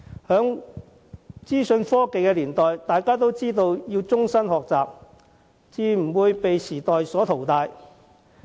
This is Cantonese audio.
在資訊科技年代，終身學習十分重要，否則便會被時代淘汰。